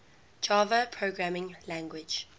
java programming language